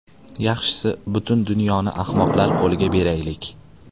Yaxshisi butun dunyoni ahmoqlar qo‘liga beraylik.